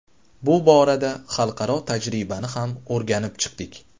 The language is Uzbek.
Bu borada xalqaro tajribani ham o‘rganib chiqdik.